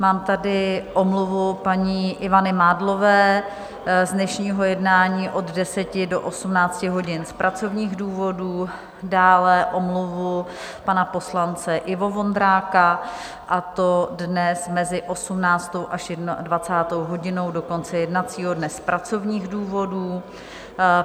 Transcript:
Mám tady omluvu paní Ivany Mádlové z dnešního jednání od 10 do 18 hodin z pracovních důvodů, dále omluvu pana poslance Ivo Vondráka, a to dnes mezi 18. až 21. hodinou do konce jednacího dne z pracovních důvodů.